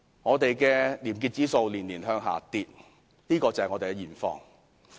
本港的廉潔指數年年下跌，這就是我們的現況。